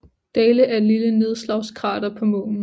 Dale er et lille nedslagskrater på Månen